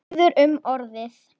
Biður um orðið.